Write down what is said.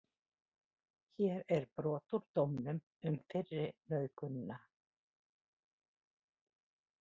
Hér eru brot úr dómnum um fyrri nauðgunina.